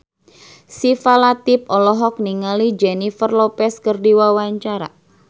Syifa Latief olohok ningali Jennifer Lopez keur diwawancara